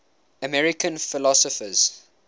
american philosophers